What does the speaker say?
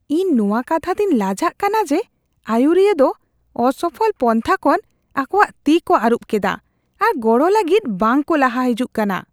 ᱤᱧ ᱱᱚᱶᱟ ᱠᱟᱛᱷᱟ ᱛᱤᱧ ᱞᱟᱡᱟᱜ ᱠᱟᱱᱟ ᱡᱮ ᱟᱹᱭᱩᱨᱤᱭᱟᱹ ᱫᱚ ᱚᱥᱚᱯᱷᱚᱞ ᱯᱚᱱᱛᱷᱟ ᱠᱷᱚᱱ ᱟᱠᱚᱣᱟᱜ ᱛᱤ ᱠᱚ ᱟᱹᱨᱩᱵ ᱠᱮᱫᱟ ᱟᱨ ᱜᱚᱲᱚ ᱞᱟᱹᱜᱤᱫ ᱵᱟᱝᱠᱚ ᱞᱟᱦᱟ ᱦᱤᱡᱩᱜ ᱠᱟᱱᱟ ᱾